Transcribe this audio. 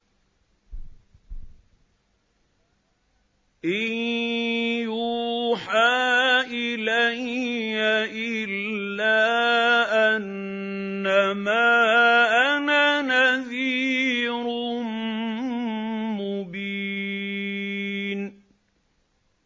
إِن يُوحَىٰ إِلَيَّ إِلَّا أَنَّمَا أَنَا نَذِيرٌ مُّبِينٌ